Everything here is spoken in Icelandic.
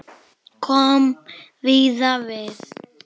Kom víða við.